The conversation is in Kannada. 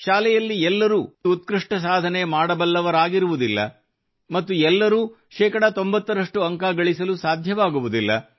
ಶಾಲೆಯಲ್ಲಿ ಎಲ್ಲರೂ ಎಲ್ಲರೂ ಶಾಲೆಯಲ್ಲಿ ಉತ್ಕೃಷ್ಟ ಸಾಧನೆ ಮಾಡ ಬಲ್ಲವರಾಗಿರುವುದಿಲ್ಲ ಮತ್ತು ಎಲ್ಲರೂ 90 ರಷ್ಟು ಅಂಕ ಗಳಿಸಲು ಸಾಧ್ಯವಾಗುವುದಿಲ್ಲ